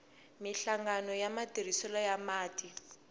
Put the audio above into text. minhlangano ya matirhiselo ya mati